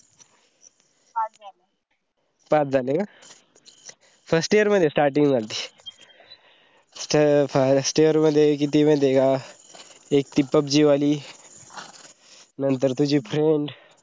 पाच झाले का? first year मध्ये starting झालती. first year मध्ये किती माहिते का एक ती pubg वाली, नंतर तुजी friend